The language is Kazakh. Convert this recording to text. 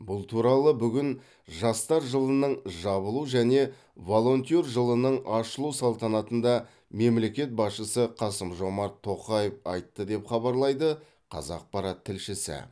бұл туралы бүгін жастар жылының жабылу және волонтер жылының ашылу салтанатында мемлекет басшысы қасым жомарт тоқаев айтты деп хабарлайды қазақпарат тілшісі